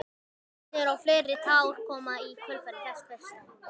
Sest niður og fleiri tár koma í kjölfar þess fyrsta.